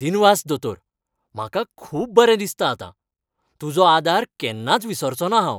दिनवास दोतोर! म्हाका खूब बरें दिसता आतां. तुजो आदार केन्नाच विसरचो ना हांव.